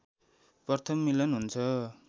प्रथम मिलन हुन्छ